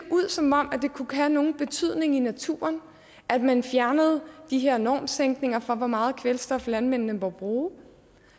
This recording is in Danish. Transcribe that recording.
som om det kunne have nogen betydning i naturen at man fjernede de her normsænkninger for hvor meget kvælstof landmændene må bruge